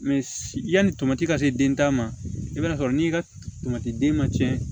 yanni tamati ka se den ta ma i b'a sɔrɔ n'i ka tomati den ma tiɲɛ